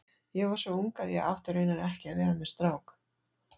Ég var svo ung að ég átti raunar ekki að vera með strák.